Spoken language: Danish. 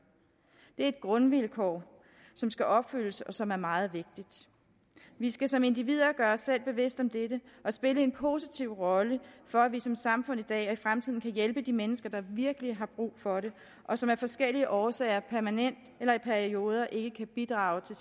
er et grundvilkår som skal opfyldes og som er meget vigtigt vi skal som individer gøre os selv bevidste om dette og spille en positiv rolle for at vi som samfund i dag og i fremtiden kan hjælpe de mennesker der virkelig har brug for det og som af forskellige årsager permanent eller i perioder ikke kan bidrage til